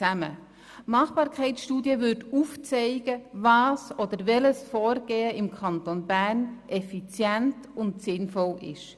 Die Machbarkeitsstudie würde aufzeigen, welches Vorgehen im Kanton Bern effizient und sinnvoll ist.